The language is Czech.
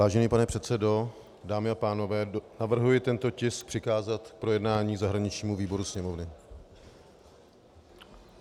Vážený pane předsedo, dámy a pánové, navrhuji tento tisk přikázat k projednání zahraničnímu výboru Sněmovny.